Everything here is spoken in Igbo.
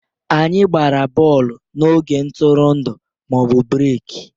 Anyị gbara bọọlụ n'oge ntụrụndụ/breki